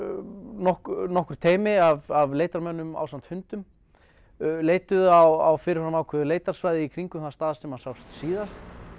nokkur nokkur teymi af leitarmönnum ásamt hundum leituðu á fyrir fram ákveðnu leitarsvæði í kringum þann stað þar sem hann sást síðast